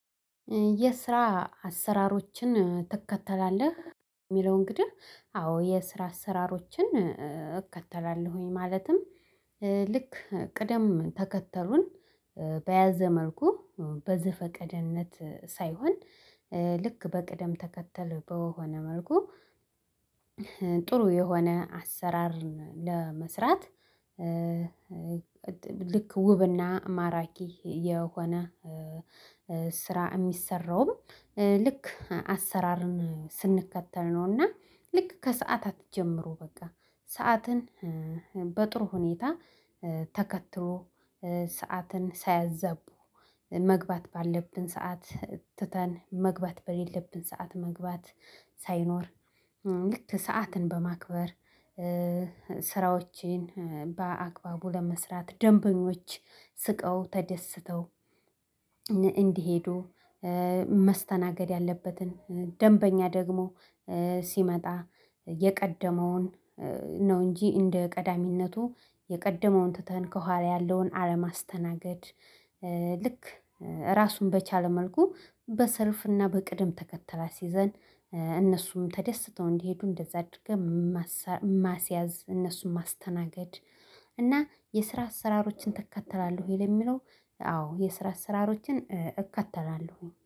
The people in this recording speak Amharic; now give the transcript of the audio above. የስራ አሰራሮችን ትከተላለህ? የሚለው እንግዲህ አዎ የስራ አሰራሮችን እከተላለሁኝ ማለትም ልክ ቅደም ተከተሉን በያዘ መልኩ በዘፈቀደነት ሳይሆን ልክ በቅደም ተከተል በሆነ መልኩ ጥሩ የሆነ አሰራር ለመስራት ልክ ውብና ማራኪ የሆነ ስራ የሚሰራው ልክ አሰራርን ስንከተል ነውና ልክ ከሰአታት ጀምሮ በቃ ሰዓትን በጥሩ ሁኔታ ተከትሎ ሰዓትን ሳያዛቡ መግባት ባለብን ሰዓት ትተን መግባት በሌለብን ሰዓት መግባት ሳይኖር ልክ ሰዓትን በማክበር ስራዎቼን በአግባቡ ለመስራት ደንበኞች ስቀው ተደስተው እንዲሄዱ መስተናገድ ያለበትን ደንበኛ ደግሞ ሲመጣ የቀደመውን ነው እንጂ እንደ ቀዳሚነቱ የቀደመውን ትተን ከኋላ ያለውን አለማስተናገድ ልክ ራሱን በቻለ መልኩ በሰልፍና በቅደም ተከተል አስይዘን እነሱም ተደስተው እንዲሄዱ እንደዛ አድርገህ ማስያዝ እነሱን ማስተናገድ እና የስራ አሰራሮችን ትከተላለህ ወይ? ለሚለው አዎ የስራ አሰራሮችን እከተላለሁ